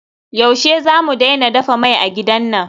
Yaushe zamu daina dafa mai a gidan nan?